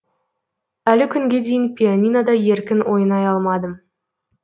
әлі күнге дейін пианинода еркін ойнай алмадым